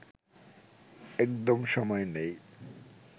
একদম সময় নেই